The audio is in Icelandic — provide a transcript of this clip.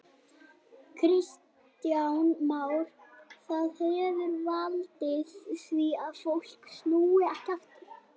Kristján Már: Það hefur valdið því að fólk snúi ekki aftur?